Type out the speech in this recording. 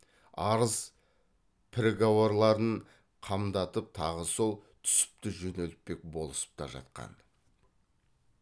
арыз піргауарларын қамдатып тағы сол түсіпті жөнелтпек болысып та жатқан